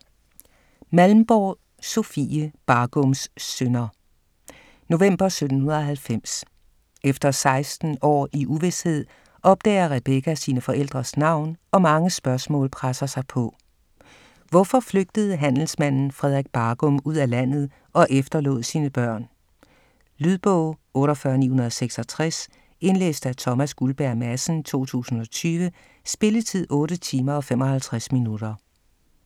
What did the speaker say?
Malmborg, Sofie: Bargums synder November 1790. Efter 16 år i uvished, opdager Rebecca sine forældres navn og mange spørgsmål presser sig på. Hvorfor flygtede handelsmanden Frederik Bargum ud af landet og efterlod sine børn? Lydbog 48966 Indlæst af Thomas Guldberg Madsen, 2020. Spilletid: 8 timer, 55 minutter.